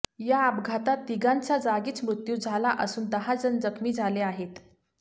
या अपघाता तिघांचा जागीच मृत्यू झाला असून दहाजण जखमी झाले आहेत